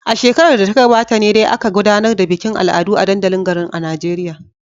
A shekarar da ta gabata ne dai aka gudanar da bikin al'adu a dandalin garin a Najeriya.